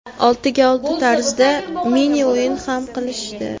Oltiga olti tarzida mini-o‘yin ham qilishdi.